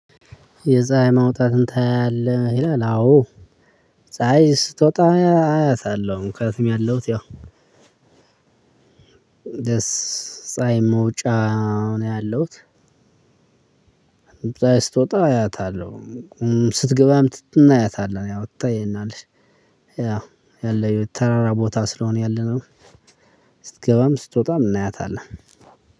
የፀሀይ መውጣትን ታያለህ ይላል? አዎ ፀሀይ ስትወጣማ አያታለሁ። ምክንየመቱም ያለሁት ያው ደስ ፀሀይ መውጫ ነው። ያለሁት እዛ ስትወጣ አያታለሁ። ስትገባም እናያታለን ያው ትታ ይሄን አለሽ። ያው ያለኝ ተራራ ቦታ ስለሆነ ያለነው። ስትገባም ስትወጣም እናያታለን።